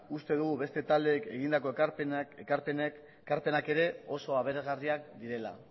uste dugu beste taldeek egindako ekarpenak ere oso aberasgarriak direla